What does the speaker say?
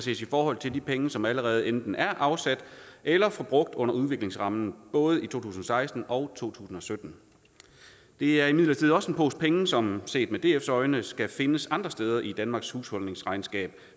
ses i forhold til de penge som allerede enten er afsat eller forbrugt under udviklingsrammen både i to tusind og seksten og to tusind og sytten det er imidlertid også en pose penge som set med dfs øjne skal findes andre steder i danmarks husholdningsregnskab